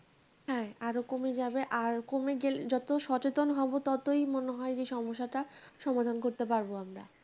হ্যাঁ আরো কমে যাবে আর কমে গেলে যত সচেতন হবো ততোই মনে হয় যে সমস্যাটা সমাধান করতে পারবো আমরা